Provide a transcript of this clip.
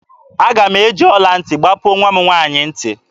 Aga m eji ọla ntị kpọpuo nwa m nwaanyị ntị